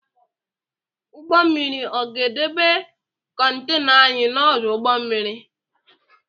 Ụgbọ mmiri ọ ga edebe kontana anyị n’ọdụ ụgbọ mmiri?